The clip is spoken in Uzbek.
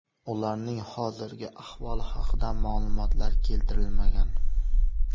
Ularning hozirgi ahvoli haqida ma’lumotlar keltirilmagan.